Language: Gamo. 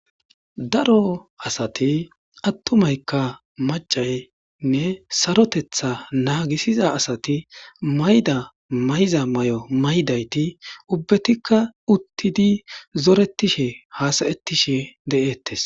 Daaro asati attumayka maccaynne sarotetha nagisiza asati mayiza mayo mayidayti ubbatika uttidi zoretishe hasaetishshe deetes.